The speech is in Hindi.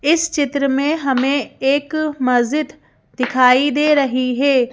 इस चित्र में हमें एक मस्जिद दिखाई दे रही है।